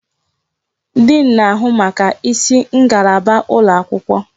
Diin na-ahụ maka isi ngalaba ụlọ akwụkwọ.